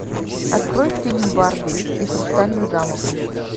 открой фильм барби и хрустальный замок